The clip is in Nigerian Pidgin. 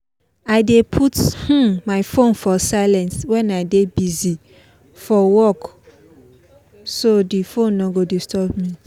i dey put um my phone for silent when i dey busy for work so the phone no go disturb me